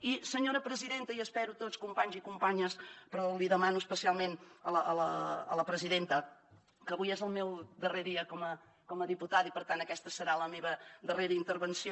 i senyora presidenta i espero que tots companys i companyes però li demano especialment a la presidenta que avui és el meu darrer dia com a diputada i per tant aquesta serà la meva darrera intervenció